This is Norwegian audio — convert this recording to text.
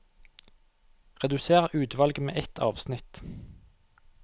Redusér utvalget med ett avsnitt